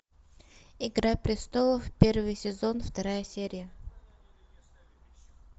игра престолов первый сезон вторая серия